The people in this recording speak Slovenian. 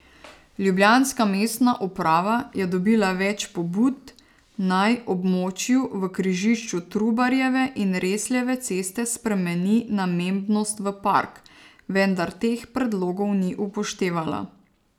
Ljubljanska mestna uprava je dobila več pobud, naj območju v križišču Trubarjeve in Resljeve ceste spremeni namembnost v park, vendar teh predlogov ni upoštevala.